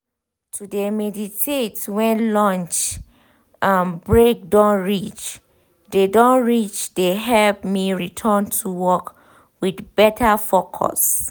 to de meditate when lunch um break don reach de don reach de help me return to work with better focus.